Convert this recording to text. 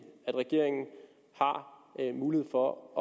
at regeringen har mulighed for at